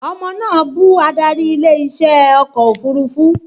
Ọmọ náà bú adarí ilé iṣẹ́ ọkọ̀ òfurufú